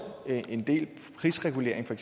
en del prisregulering for